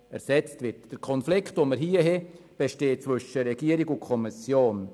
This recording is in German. Der vorliegende Konflikt liegt zwischen der Regierung und der Kommission.